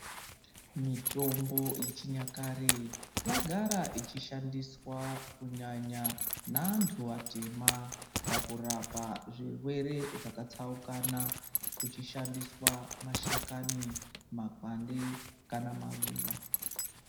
Mitombo yechinyakare yagara ichishandiswa kunyanya naantu atema pakurapa zvirwere zvakatsaukana kuchishandiswa mashakani, makwande kana maruva.